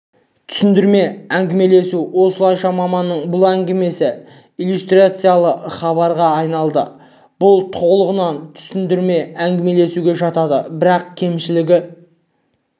түсіндірме әңгімелесу осылайша маманның бұл әңгімесі иллюстрациялы хабарға айналады бұл толығынан түсіндірме әңгімелесуге жатады бір кемшілігі